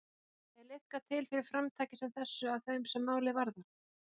Er liðkað til fyrir framtaki sem þessu af þeim sem málið varðar?